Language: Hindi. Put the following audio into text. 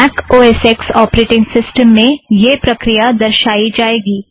Mac O S X operating system में यह प्रक्रिया समझाया जाएगा